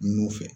Nun fɛ